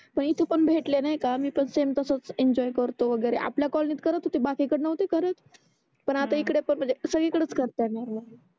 पण इथे पण भेटले नाही का मी पण समे तसच एंजॉय करतो वगेरे आपल्या कॉलोनी करत होते बाकी कडे नोव्हते करत हम्म पण आता इकडे पण सगडी कडेच करतात आहे नेहमी